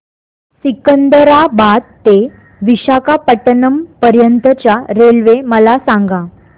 सिकंदराबाद ते विशाखापट्टणम पर्यंत च्या रेल्वे मला सांगा